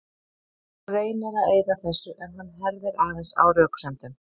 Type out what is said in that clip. Hún reynir að eyða þessu en hann herðir aðeins á röksemdunum.